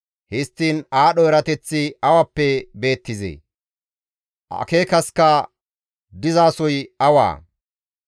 Histtiin aadho erateththi awappe beettizee? Akeekasikka dizasoy awaa?